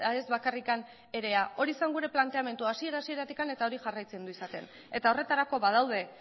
ez bakarrik erea hori zen gure planteamendua hasiera hasieratik eta hori jarraitzen du izaten eta horretarako badaude